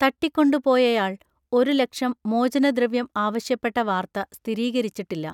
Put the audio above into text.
തട്ടിക്കൊണ്ടുപോയയാൾ ഒരു ലക്ഷം മോചനദ്രവ്യം ആവശ്യപ്പെട്ട വാർത്ത സ്ഥിരീകരിച്ചിട്ടില്ല.